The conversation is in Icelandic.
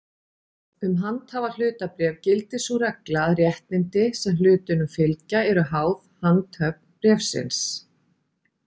Um handhafahlutabréf gildir sú regla að réttindi, sem hlutunum fylgja, eru háð handhöfn bréfsins.